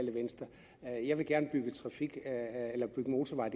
jeg er jeg vil gerne bygge motorveje